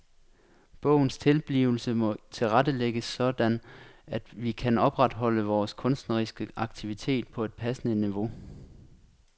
Bogens tilblivelse må tilrettelægges sådan at vi kan opretholde vores kunstneriske aktivitet på et passende niveau.